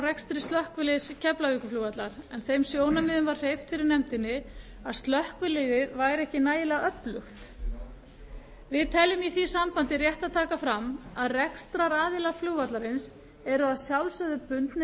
rekstri slökkviliðs keflavíkurflugvallar en þeim sjónarmiðum var hreyft fyrir nefndinni að slökkviliðið væri ekki nægilega öflugt telur meiri hlutinn í því sambandi rétt að taka fram að rekstraraðilar flugvallarins eru bundnir